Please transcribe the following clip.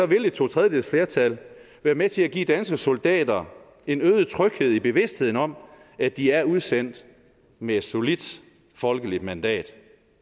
vil et totredjedelsflertal være med til at give danske soldater en øget tryghed i bevidstheden om at de er udsendt med et solidt folkeligt mandat